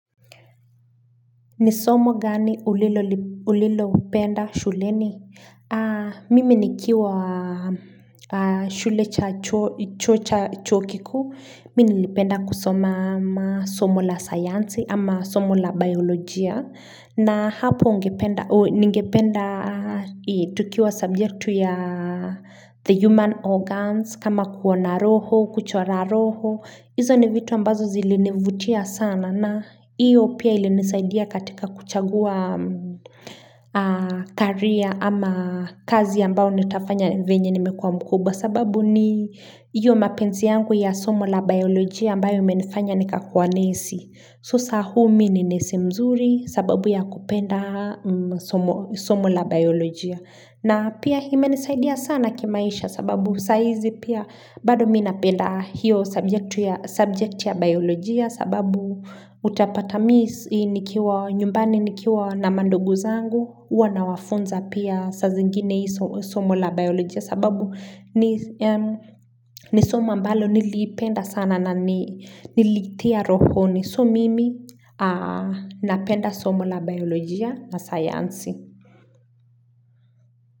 Nisomo gani ulilo penda shuleni? Mimi nikiwa shule cha chuokikuu. Mimi nipenda kusoma somo la science ama somo la biyolojia. Na hapo ningependa tukiwa subjectu ya the human organs. Kama kuona roho, kuchora roho. Hizo ni vitu ambazo zilinivutia sana na iyo pia ilinisaidia katika kuchagua career ama kazi ambao nitafanya venye nimekua mkubwa. Sababu ni iyo mapenzi yangu ya somo la biolojia ambayo imenifanya nikakuwa nesi. So sahu mimi ni nesi mzuri sababu ya kupenda somo la biyolojia. Na pia imenisaidia sana kimaisha sababu saizi pia bado mimi napenda hiyo subject ya biyolojia sababu utapata miminikiwa nyumbani nikiwa na mandugu zangu huwa nawafunza pia sa zingine hii somo la biyolojia sababu nisoma ambalo niliipenda sana na nilitia rohoni so mimi napenda somo la biyolojia na sayansi.